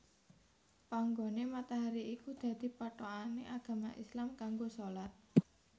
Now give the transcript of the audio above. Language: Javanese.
Panggoné matahari iku dadi pathokané agama Islam kanggo shalat